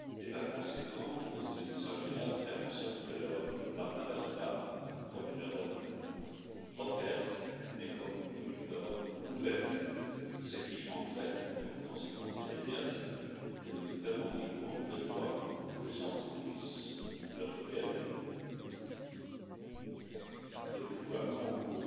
Par conséquent, il s'agit de faire en sorte que l'Europe n'apparaisse pas comme une Europe offerte, mais comme une Europe ouverte, ce qui entraîne comme conséquence immédiate que nous revendiquons le droit pour les entreprises européennes de mener leurs activités dans des conditions de concurrence